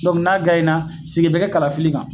n'a na segin bi kɛ kalafili kan.